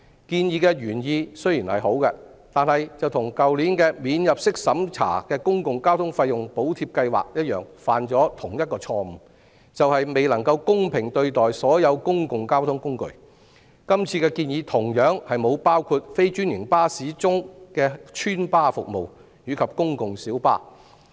建議原意雖好，但與去年的"免入息審查的公共交通費用補貼計劃"犯下同一錯誤，便是未能公平對待所有公共交通工具，今次的建議同樣沒有包括非專營巴士中的"邨巴"服務及公共小巴。